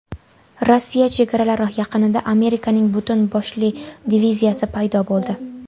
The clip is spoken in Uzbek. Rossiya chegaralari yaqinida Amerikaning butun boshli diviziyasi paydo bo‘ldi.